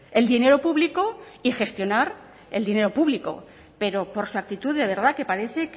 el dinero público y gestionar el dinero público pero por su actitud de verdad que parece